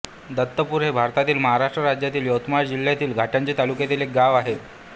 दत्तपूर हे भारतातील महाराष्ट्र राज्यातील यवतमाळ जिल्ह्यातील घाटंजी तालुक्यातील एक गाव आहे